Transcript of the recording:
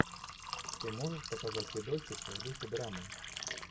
ты можешь показать видосик в духе драмы